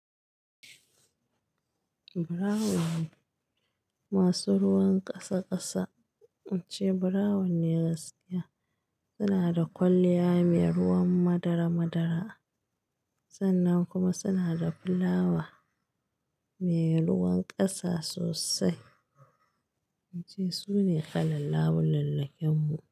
Brown masu ruwan ƙasa ƙasa, in ce brown ne gaskiya. Suna da kwalliya mai ruwan madara madara sannan kuma suna da fulawa mai ruwan ƙasa sosai. Wance sune kalan labulallakin mu.